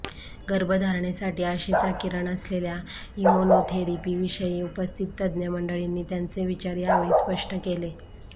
गर्भधारणेसाठी आशेचा किरण असलेल्या इम्युनोथेरपीविषयी उपस्थित तज्ज्ञ मंडळींनी त्यांचे विचार यावेळी स्पष्ट केले